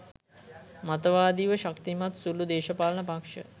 මතවාදිව ශක්තිමත් සුළු දේශපාලන පක්‍ෂ